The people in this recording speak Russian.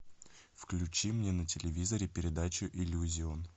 включи мне на телевизоре передачу иллюзион